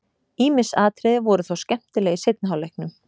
Ýmis atriði voru þó skemmtileg í seinni hálfleiknum.